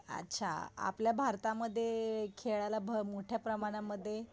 अच्छा आपल्या भारतामध्ये खेळाला भ मोठ्या प्रमाणामध्ये